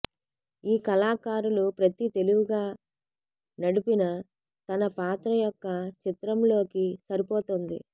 ఈ కళాకారులు ప్రతి తెలివిగా నడిపిన తన పాత్ర యొక్క చిత్రం లోకి సరిపోతుంది